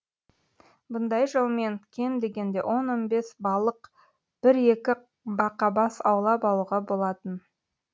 бұндай жолмен кем дегенде он он бес балық бір екі бақабас аулап алуға болатын